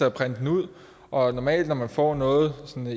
at printe den ud og normalt når man får noget